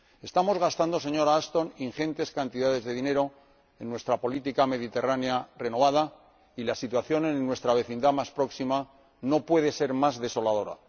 Estamos gastando, señora Ashton, ingentes cantidades de dinero en nuestra política mediterránea renovada y la situación en nuestra vecindad más próxima no puede ser más desoladora.